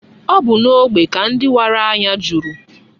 Ọ bu n'ógbè ka ndị wara anya juru.